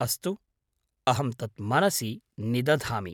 अस्तु, अहं तत् मनसि निदधामि।